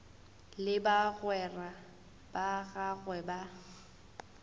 le bagwera ba gagwe ba